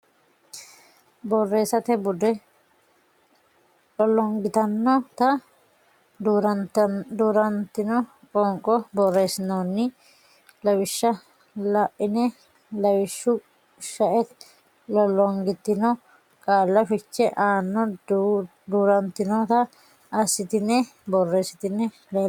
Borreessate Bude Lollongitinonna Duu rantino Qoonqo borreessinoonni lawishsha la ine lawishshu shaete lollongitino qaalla fiche aanno duu rantinota assitine borreessitine leellishshe.